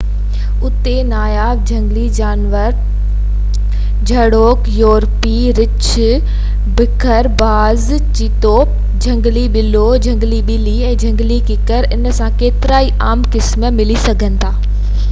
اُتي ناياب جهنگلي جانور جهڙوڪ يورپي ڀورو رڇ بگهڙ باز چٻرو جهنگلي ٻلو جهنگلي ٻلي ۽ جهنگلي ڪڪڙ ان سان گڏ ڪيترائي عام قسم ملي سگهن ٿا